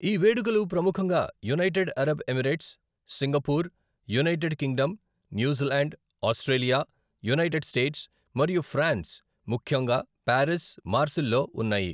ఈ వేడుకలు ప్రముఖంగా United Arab Emirates, Singapore, United Kingdom, New Zealand, Australia, United States, మరియు ఫ్రాన్స్, ముఖ్యంగా పారిస్, మార్సిల్ లో ఉన్నాయి.